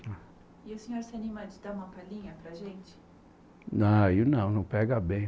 E o senhor se anima a dar uma palhinha para a gente? Não aí não, não pega bem